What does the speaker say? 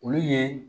Olu ye